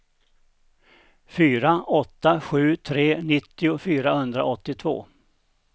fyra åtta sju tre nittio fyrahundraåttiotvå